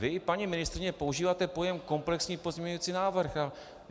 Vy, paní ministryně, používáte pojem komplexní pozměňující návrh.